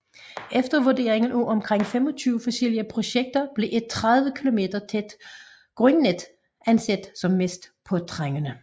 Efter vurdering af omkring 25 forskellige projekter blev et 30 kilometer tæt grundnet anset som mest påtrængende